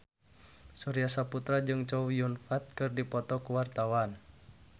Surya Saputra jeung Chow Yun Fat keur dipoto ku wartawan